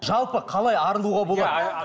жалпы қалай арылуға болады